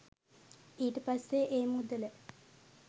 ඊට පස්සේ ඒ මුදල